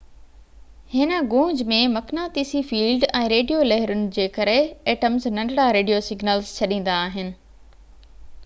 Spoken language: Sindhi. هن گونج ۾ مقناطيسي فيلڊ ۽ ريڊيو لهرون جي ڪري ايٽمز ننڍڙا ريڊيو سگنلز ڇڏيندا آهن